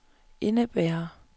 indebærer